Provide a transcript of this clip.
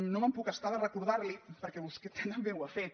no em puc estar de recordar·li perquè vostè també ho ha fet